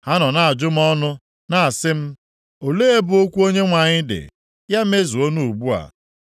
Ha nọ na-ajụ m ọnụ, na-asị m, “Olee ebe okwu Onyenwe anyị dị? Ya mezuonụ ugbu a!”